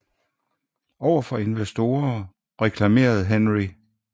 Over for investorer reklamerede Henry W